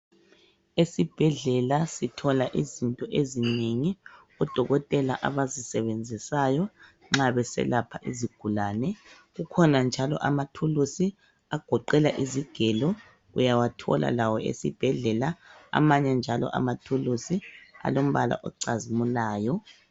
Esibhedlela sithola izinto ezinengi odokotela abazisebenzisayo nxa beselapha izigulane, kukhona njalo amathuluzi agoqela izigelo uyawathola lawo esibhedlela amanye njalo amathuluzi alombala ocazimulayo.